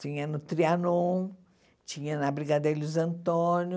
Tinha no Trianon, tinha na Brigadeiro Luiz Antônio,